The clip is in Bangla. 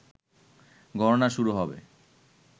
গণনা শুরু হবে